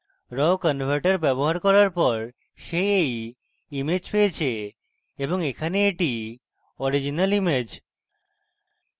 raw converter ব্যবহার করার পর সে এই image পেয়েছি এবং এখানে এটি original image